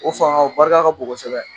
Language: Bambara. O fanga o barika ka bon kosɛbɛ